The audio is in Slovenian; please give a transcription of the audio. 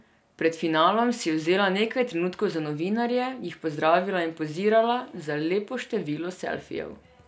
Pred finalom si je vzela nekaj trenutkov za novinarje, jih pozdravila in pozirala za lepo število selfijev.